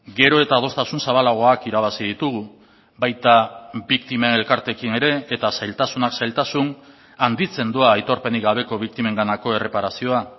gero eta adostasun zabalagoak irabazi ditugu baita biktimen elkarteekin ere eta zailtasunak zailtasun handitzen doa aitorpenik gabeko biktimenganako erreparazioa